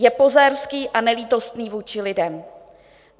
Je pozérský a nelítostný vůči lidem.